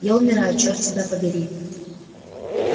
я умираю чёрт тебя побери